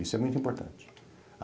Isso é muito importante.